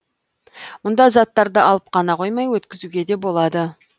мұнда заттарды алып қана қоймай өткізуге де болады